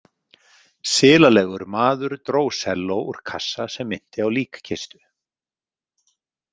Silalegur maður dró selló úr kassa sem minnti á líkkistu.